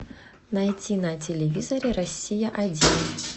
найти на телевизоре россия один